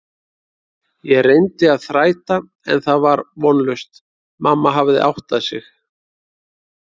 Ég reyndi að þræta en það var vonlaust, mamma hafði áttað sig.